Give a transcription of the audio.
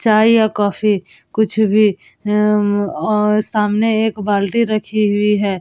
चाय या कॉफी कुछ भी अ सामने एक बाल्टी रखी हुई है।